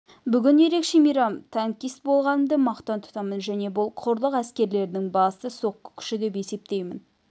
бүгін ерекше мейрам танкист болғанымды мақтан тұтамын және бұл құрлық әскерлерінің басты соққы күші деп есептеймін